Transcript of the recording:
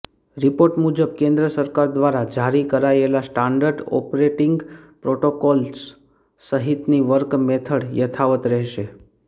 report મુજબ કેન્દ્ર સરકાર દ્વારા જારી કરાયેલા સ્ટાન્ડર્ડ ઓપરેટિંગ પ્રોટોકોલ્સ સહિતની વર્ક મેથડ યથાવત રહેશે